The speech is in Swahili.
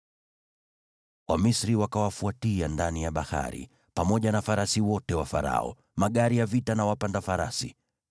Wamisri wakawafuatia ndani ya bahari, pamoja na farasi wote wa Farao, magari ya vita na wapanda farasi.